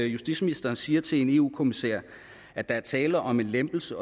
justitsministeren siger til en eu kommissær at der er tale om en lempelse